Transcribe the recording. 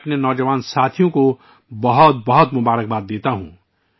میں اپنے نوجوان ساتھیوں کو ، اس شاندار کامیابی پر مبارکباد دیتا ہوں